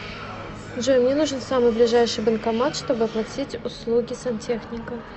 джой мне нужен самый ближайший банкомат чтобы оплатить услуги сантехника